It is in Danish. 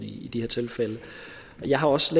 i de her tilfælde jeg har også